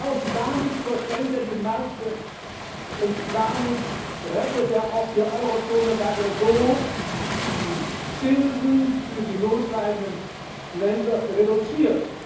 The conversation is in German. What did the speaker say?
Und damit überschwemmt er die Märkte und rettet auch die Eurozone, weil er so die Zinsen für die notleidenden Länder reduziert.